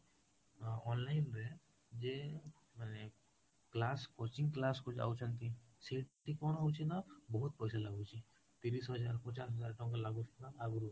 ଅ online ରେ ଯିଏ ମାନେ class coaching class କୁ ଯାଉଛନ୍ତି ସେଠି କଣ ହଉଛି ନା ବହୁତ ପଇସା ଲାଗୁଛି ତିରିଶ ହଜାର ପଚାଶ ହଜାର ଟଙ୍କା ଲାଗୁଥିଲା ଆଗରୁ